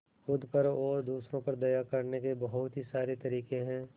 खुद पर और दूसरों पर दया करने के बहुत सारे तरीके हैं